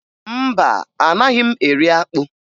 Mba, anaghị m eri akpụ